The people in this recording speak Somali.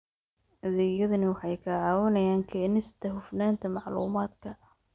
Adeegyadani waxay ka caawinayaan keenista hufnaanta macluumaadka.